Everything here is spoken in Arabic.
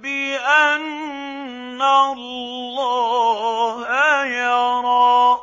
بِأَنَّ اللَّهَ يَرَىٰ